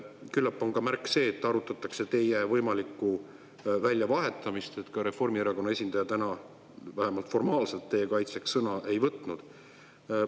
Küllap on seegi märk sellest, et arutatakse teie võimalikku väljavahetamist, et Reformierakonna esindaja täna vähemalt formaalselt teie kaitseks sõna ei võtnud.